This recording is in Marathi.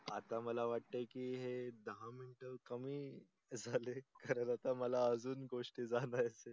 आता मला वाटे की हे दहा मिंट कमी झाले कारण मला आता अजून गोष्टी सांगाचे आहे.